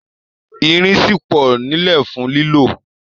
Irin ṣì pọ̀ nílẹ̀ fún lílò